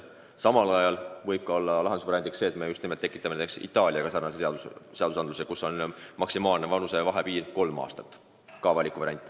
Samal ajal võib lahendus olla ka see, et me kehtestame näiteks Itaalia omaga sarnase paragrahvi, kus on maksimaalne vanusevahe kolm aastat.